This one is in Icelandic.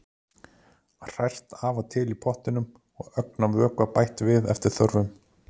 Hrært af og til í pottinum og ögn af vökva bætt við eftir þörfum.